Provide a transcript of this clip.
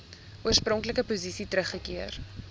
oorspronklike posisie teruggekeer